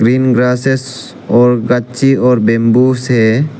green grasses और गच्ची और बंबू से --